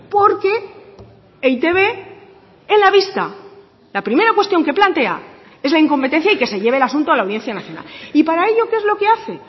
porque e i te be en la vista la primera cuestión que plantea es la incompetencia y que se lleve el asunto a la audiencia nacional y para ello qué es lo que hace